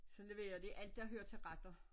Så leverer de alt der hører til retter